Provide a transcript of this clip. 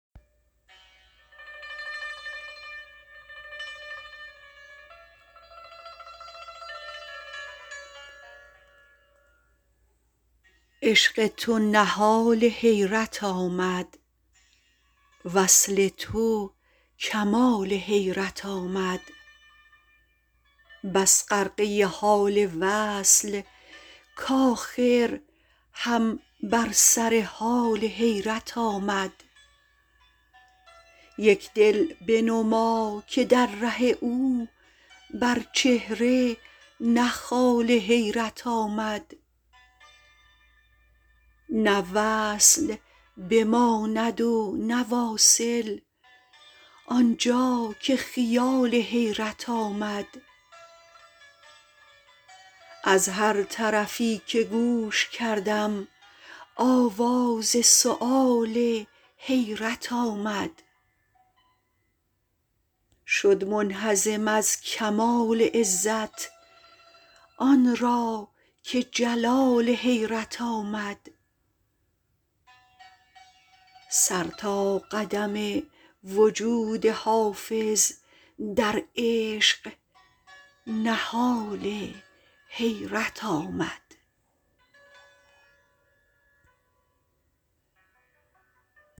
عشق تو نهال حیرت آمد وصل تو کمال حیرت آمد بس غرقه حال وصل کآخر هم بر سر حال حیرت آمد یک دل بنما که در ره او بر چهره نه خال حیرت آمد نه وصل بماند و نه واصل آن جا که خیال حیرت آمد از هر طرفی که گوش کردم آواز سؤال حیرت آمد شد منهزم از کمال عزت آن را که جلال حیرت آمد سر تا قدم وجود حافظ در عشق نهال حیرت آمد